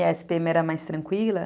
E a era mais tranquila.